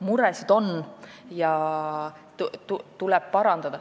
Muresid on ja olukorda tuleb parandada.